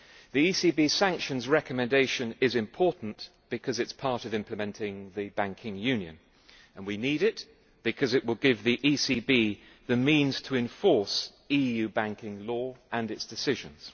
The ECB sanctions recommendation is important because it is part of implementing the banking union, and we need it because it will give the ECB the means to enforce EU banking law and its decisions.